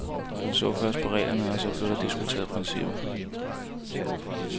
Man så først på reglerne, og så blev der diskuteret principper.